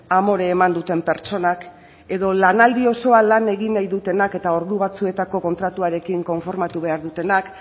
amore eman duten pertsonak edo lanaldi osoa lan egin nahi dutenak eta ordu batzuetako kontratuarekin konformatu behar dutenak